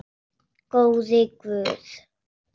Góði Guð.